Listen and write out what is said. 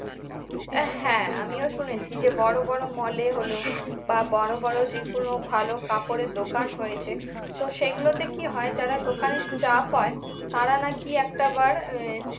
আহ হ্যাঁ আমিও শুনেছি যে বড় বড় mall এ হলো বা বড় বড় যেকোন ভালো কাপড়ের দোকান হয়েছে তো সেগুলোতে কি হয় যারা দোকানের staff হয় তারা নাকি একটা বার আহ